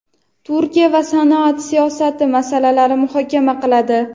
Turkiya va sanoat siyosati masalalarini muhokama qiladi.